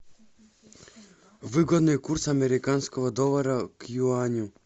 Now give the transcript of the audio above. выгодный курс американского доллара к юаню